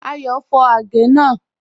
Ayọ́ fọ̀ àgẹ̀ náà.